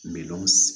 Miliyɔn